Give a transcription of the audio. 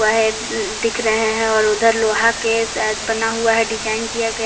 दिख रहे हैं और उधर लोहा के शायद बना हुआ है डिजाइन किया गया--